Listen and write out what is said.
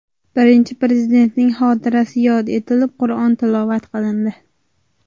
Birinchi Prezidentning xotirasi yod etilib, Qur’on tilovat qilindi.